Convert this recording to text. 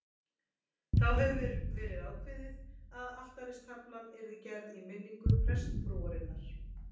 Þá hafði verið ákveðið að altaristaflan yrði gerð í minningu prestsfrúarinnar